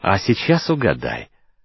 а сейчас угадай